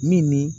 Min ni